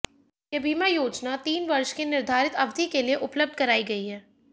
यह बीमा योजना तीन वर्ष की निर्धारित अवधि के लिए उपलब्ध कराई गई है